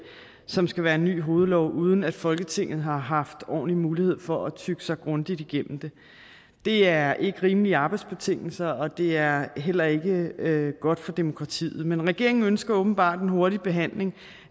som skal være en ny hovedlov uden at folketinget har haft ordentlig mulighed for at tygge sig grundigt igennem det det er ikke rimelige arbejdsbetingelser og det er heller ikke godt for demokratiet men regeringen ønsker åbenbart en hurtig behandling